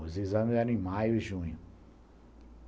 Os exames eram em maio e junho.